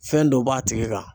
Fɛn dɔ b'a tigi kan.